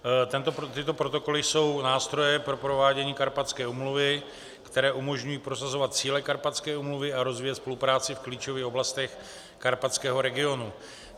Tyto protokoly jsou nástroje pro provádění Karpatské úmluvy, které umožňují prosazovat cíle Karpatské úmluvy a rozvíjet spolupráci v klíčových oblastech karpatského regionu.